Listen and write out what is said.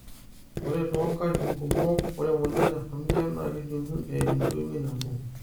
ore too nkatitin kumok, ore e moyian e familial naa kejunguni eimu entoiwoi nabo